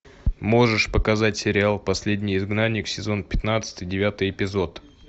можешь показать сериал последний изгнанник сезон пятнадцатый девятый эпизод